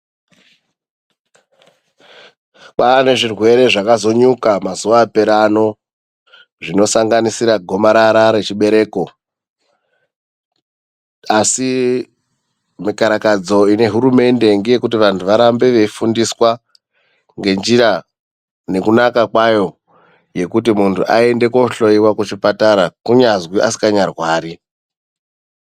Kwaane zvirwere zvakazonyuka mazuva apera ano zvinosanganisira gomarara rechibereko asi mikarakadzo ine hurumende ngeyekuti vantu varambe veyifundiswa ngenjira nekunaka kwayo yekuti muntu aende kunohloyiwa kuchipatara kunyazi asinganya rwari.